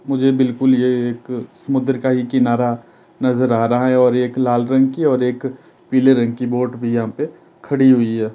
मुझे बिल्कुल ये एक समुद्र का ही किनारा नजर आ रहा है और एक लाल रंग की और एक पीले रंग की बोट भी यहां पे खड़ी हुई है।